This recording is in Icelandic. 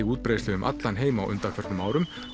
útbreiðslu um allan heim á undanförnum árum